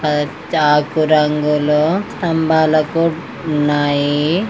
పచ్చ ఆకు రంగులో తంబాలకు ఉన్నాయి.